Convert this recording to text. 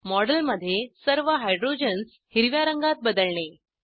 मॉडेलमध्ये सर्व हायड्रोजन्स हिरव्या रंगात बदलणे